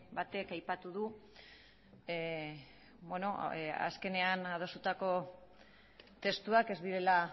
batek aipatu du azkenean adostutako testuak ez direla